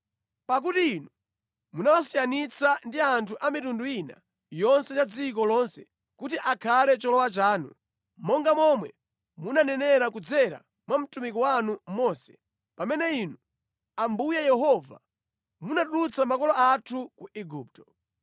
Pakuti Inu munawasiyanitsa ndi anthu a mitundu ina yonse ya dziko lonse kuti akhale cholowa chanu, monga momwe munanenera kudzera mwa mtumiki wanu Mose pamene Inu, Ambuye Yehova, munatulutsa makolo athu ku Igupto.”